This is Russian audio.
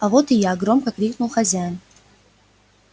а вот и я громко крикнул хозяин